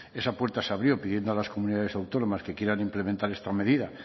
esa puerta se abrió pidiendo a las comunidades autónomas que quieran implementar esta medida